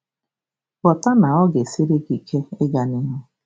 Ghọta na ọ ga-esiri gị ike ịga n'ihu.